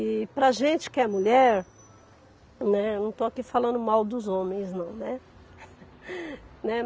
E para a gente que é mulher, né, não estou aqui falando mal dos homens não, né?